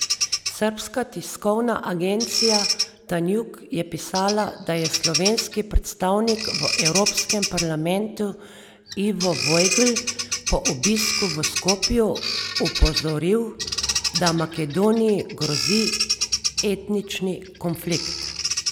Srbska tiskovna agencija Tanjug je pisala, da je slovenski predstavnik v Evropskem parlamentu Ivo Vajgl po obisku v Skopju opozoril, da Makedoniji grozi etnični konflikt.